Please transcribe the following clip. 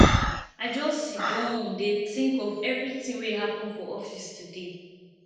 i just siddon dey tink of everytin wey happen for office today